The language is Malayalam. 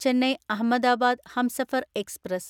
ചെന്നൈ അഹമ്മദാബാദ് ഹംസഫർ എക്സ്പ്രസ്